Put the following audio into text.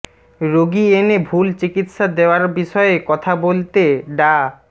রোগী এনে ভুল চিকিৎসা দেওয়ার বিষয়ে কথা বলতে ডা